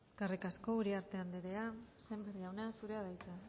eskerrik asko uriarte andrea sémper jauna zurea da hitza